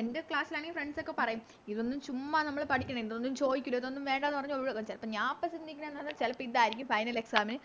എൻറെ Class ആണെങ്കി Friends ഒക്കെ പറയും ഇതൊന്നും ചുമ്മാ നമ്മള് പഠിക്കണ്ട ഇതൊന്നും ചോദിക്കൂല ഇതൊന്നും വേണ്ടന്ന് പറഞ്ഞ് ഒഴിവാക്കും ചെലപ്പോ ഞാനപ്പോ ചിന്തിക്കുന്നേ എന്താന്ന് ചെലപ്പോ ഇതാരിക്കും Final exam ന്